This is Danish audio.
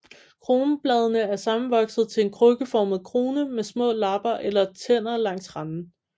Kronbladene er sammenvoksede til en krukkeformet krone med små lapper eller tænder langs randen